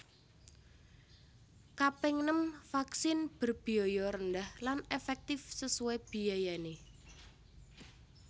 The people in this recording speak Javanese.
Kaping nem vaksin berbiaya rendah lan efektif sesuai biayane